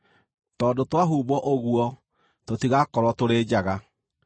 tondũ twahumbwo ũguo tũtigakorwo tũrĩ njaga.